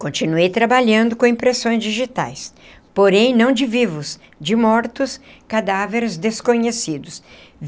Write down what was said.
Continuei trabalhando com impressões digitais, porém não de vivos, de mortos, cadáveres desconhecidos.